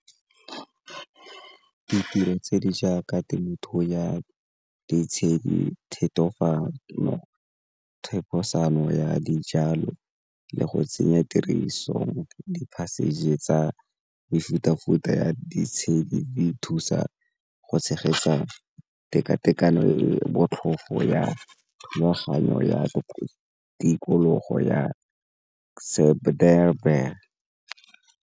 Ditiro tse di jaaka temothuo ya ditshedi, thefosanyo ya dijalo le go tsenya tiriso di tsa mefuta-futa ya ditshedi di thusa go tshegetsa tekatekano e botlhofo ya thulaganyo ya tikologo ya .